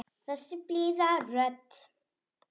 Þessi blíða rödd.